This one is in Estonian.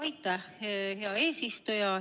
Aitäh, hea eesistuja!